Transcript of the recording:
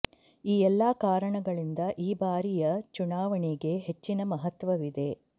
ಈ ಎಲ್ಲಾ ಕಾರಣಗಳಿಂದ ಈ ಬಾರಿಯ ಚುನಾವಣೆಗೆ ಹೆಚ್ಚಿನ ಮಹತ್ವವಿದೆ